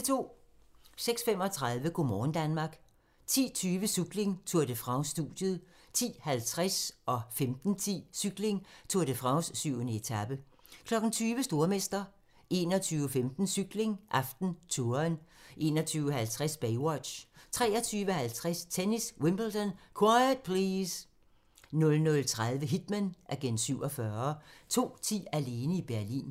06:35: Go' morgen Danmark 10:20: Cykling: Tour de France - studiet 10:50: Cykling: Tour de France - 7. etape 15:10: Cykling: Tour de France - 7. etape 20:00: Stormester 21:15: Cykling: AftenTouren 21:50: Baywatch 23:50: Tennis: Wimbledon - quiet please! 00:30: Hitman: Agent 47 02:10: Alene i Berlin